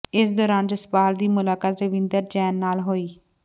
ਇਸ ਦੌਰਾਨ ਜਸਪਾਲ ਦੀ ਮੁਲਾਕਾਤ ਰਵਿੰਦਰ ਜੈਨ ਨਾਲ ਹੋਈ